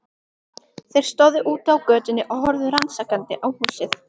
Þeir stóðu úti á götunni og horfðu rannsakandi á húsið.